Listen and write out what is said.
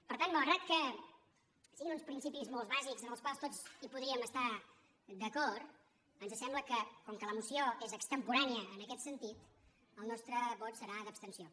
per tant malgrat que siguin uns principis molt bàsics amb els quals tots hi podríem estar d’acord ens sembla que com que la moció és extemporània en aquest sentit el nostre vot serà d’abstenció